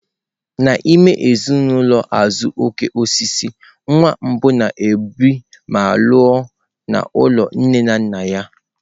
N'ime ezinụlọ azuokokoosisi, nwa mbụ na-ebi ma lụọ n'ụlọ nne na nna ya.